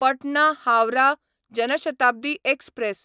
Patna Howrah Jan Shatabdi express